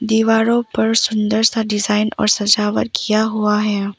दीवारों पर सुंदर सा डिजाइन और सजावट किया हुआ है।